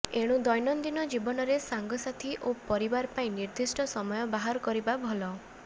ଏଣୁ ଦୈନନ୍ଦିନ ଜୀବନରେ ସାଙ୍ଗ ସାଥୀ ଓ ପରିବାର ପାଇଁ ନିର୍ଦ୍ଦିଷ୍ଟ ସମୟ ବାହାର କରିବା ଭଲ